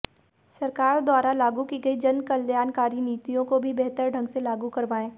सरकार द्वारा लागू की गई जनकल्याणकारी नीतियों को भी बेहतर ढंग से लागू करवाएं